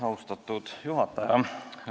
Austatud juhataja!